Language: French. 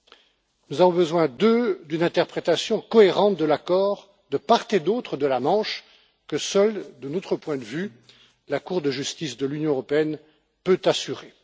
Deuxièmement, nous avons besoin d'une interprétation cohérente de l'accord de part et d'autre de la Manche, que, de notre point de vue, seule la Cour de justice de l'Union européenne peut assurer.